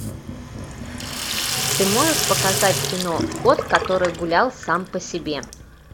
ты можешь показать кино кот который гулял сам по себе